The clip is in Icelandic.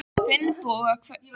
Finnboga, hver syngur þetta lag?